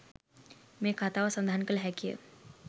මේ කතාව සඳහන් කළ හැකිය.